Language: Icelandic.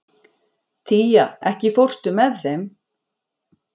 Tía, ekki fórstu með þeim?